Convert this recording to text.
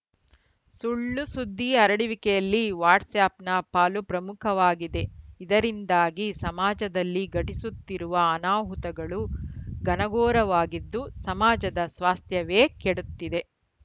ಸುಳ್ಳುಸುದ್ದಿ ಹರಡುವಿಕೆಯಲ್ಲಿ ವಾಟ್ಸ್‌ಆ್ಯಪ್‌ನ ಪಾಲು ಪ್ರಮುಖವಾಗಿದೆ ಇದರಿಂದಾಗಿ ಸಮಾಜದಲ್ಲಿ ಘಟಿಸುತ್ತಿರುವ ಅನಾಹುತಗಳು ಘನಘೋರವಾಗಿದ್ದು ಸಮಾಜದ ಸ್ವಾಸ್ಥ್ಯವೇ ಕೆಡುತ್ತಿದೆ